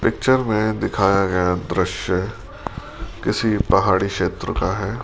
Picture में दिखाया गया दृश्य किसी पहाड़ी क्षेत्र का है।